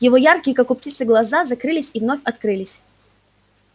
его яркие как у птицы глаза закрылись и вновь открылись